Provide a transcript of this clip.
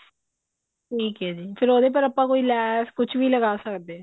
ਠੀਕ ਹੈ ਜੀ ਫ਼ੇਰ ਉਹਦੇ ਪਰ ਆਪਾਂ ਕੋਈ ਲੈਸ ਕੁਛ ਵੀ ਲਗਾ ਸਕਦੇ ਹਾਂ